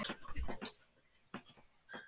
Ertu með einhverja í sigtinu kannski?